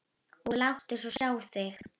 Og láttu svo sjá þig.